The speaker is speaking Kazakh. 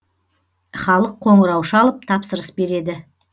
халық қоңырау шалып тапсырыс береді